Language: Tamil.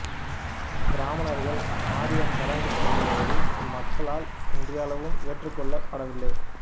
பிராமணர்கள் ஆரிய சடங்கு முதலியவை இம்மக்களால் இன்றளவும் ஏற்று கொள்ளப்படவில்லை